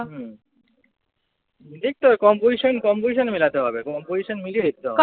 হম দেখতে হবে composition composition মেলাতে হবে। composition মিলিয়ে দেখতে হবে।